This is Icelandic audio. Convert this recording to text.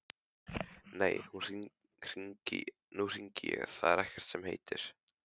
Nei, nú hringi ég, það er ekkert sem heitir!